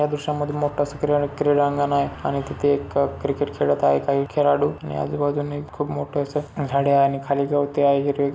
या दृशामध्ये मोठा क्रीडांगण आहे आणि तिथे एक क्रिकेट खेळत आहे काही खेळाडू आणि आजूबाजूनी खूप मोठास झाडे आहे आणि खाली गवते आहे हिरवे--